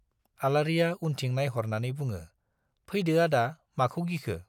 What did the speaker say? आलारिया उनथिं नाइहरनानै बुङो, फैदो आदा, माखौ गिखो?